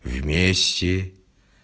вместе